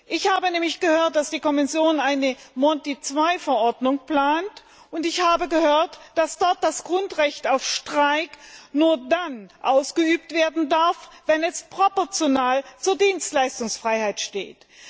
Ich habe nämlich gehört, dass die Kommission eine Monti II Verordnung plant, und ich habe gehört, dass darin geregelt ist, dass das Grundrecht auf Streik nur dann ausgeübt werden darf, wenn es proportional zur Dienstleistungsfreiheit steht.